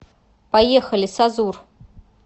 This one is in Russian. поехали сазур